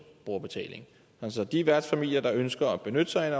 brugerbetaling de værtsfamilier der ønsker at benytte sig af